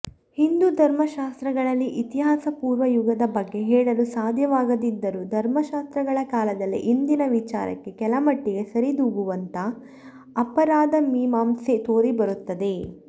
ಹಿಂದೂಧರ್ಮಶಾಸ್ತ್ರಗಳಲ್ಲಿ ಇತಿಹಾಸಪೂರ್ವಯುಗದ ಬಗ್ಗೆ ಹೇಳಲು ಸಾಧ್ಯವಾಗದಿದ್ದರೂ ಧರ್ಮಶಾಸ್ತ್ರಗಳ ಕಾಲದಲ್ಲಿ ಇಂದಿನ ವಿಚಾರಕ್ಕೆ ಕೆಲಮಟ್ಟಿಗೆ ಸರಿ ದೂಗುವಂಥ ಅಪರಾಧಮೀಮಾಂಸೆ ತೋರಿಬರುತ್ತದೆ